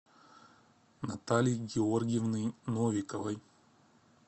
натальи георгиевны новиковой